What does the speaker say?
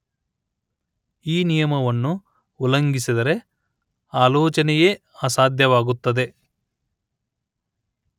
ಈ ನಿಯಮವನ್ನು ಉಲ್ಲಘಿಂಸಿದರೆ ಆಲೋಚನೆಯೇ ಅಸಾಧ್ಯವಾಗುತ್ತದೆ